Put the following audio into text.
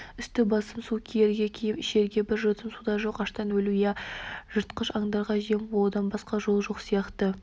үсті-басым су киерге киім ішерге бір жұтым су да жоқ аштан өлу я жыртқыш аңдарға жем болудан басқа жол жоқ сияқты